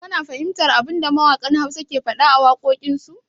Ka na fahimtar abinda mawaƙan Hausa ke faɗa a wakokin su?